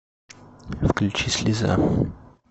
включи слеза